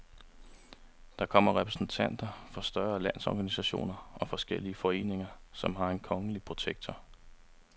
Der kommer repræsentanter for større landsorganisationer og forskellige foreninger, som har en kongelige protektor.